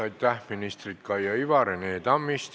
Aitäh, ministrid Kaia Iva ja Rene Tammist!